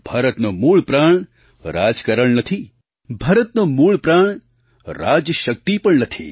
ભારતનો મૂળ પ્રાણ રાજકારણ નથી ભારતનો મૂળ પ્રાણ રાજશક્તિ પણ નથી